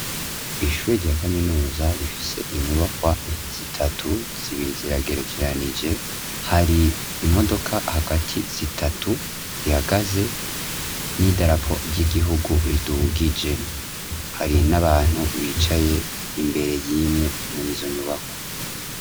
Ishuri rya kaminuza rifise inyubakwa zitatu zibiri ziragerekeranije hari imodoka hagati zitatu zihagaze n'idarapo ry'igihugu ridugije, hari n'abantu bicaye imbere y'imwe muri zo nyubakwa.